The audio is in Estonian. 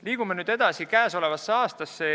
Liigume nüüd edasi käesolevasse aastasse.